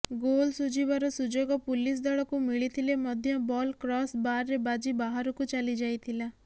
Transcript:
goal ଶୁଝିବାର ସୁଯୋଗ police ଦଳକୁ ମିଳିଥିଲେ ମଧ୍ୟ ବଲ୍ କ୍ରସ୍ ବାର୍ରେ ବାଜି ବାହାରକୁ ଚାଲିଯାଇଥିଲା